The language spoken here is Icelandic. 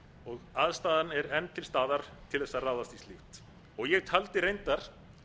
og aðstaðan er enn til staðar til þess að ráðast í slíkt ég taldi reyndar